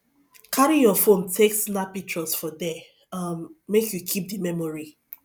carry your phone take snap pictures for there um make you keep di memory